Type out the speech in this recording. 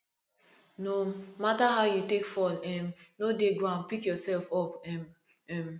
no matter how you take fall um no dey ground pick yourself up um um